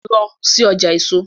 Lọ sí ọjà èso!